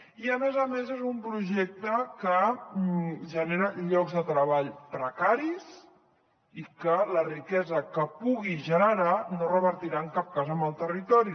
i a més a més és un projecte que genera llocs de treball precaris i que la riquesa que pugui generar no revertirà en cap cas en el territori